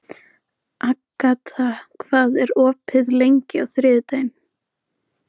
Agata, hvað er opið lengi á þriðjudaginn?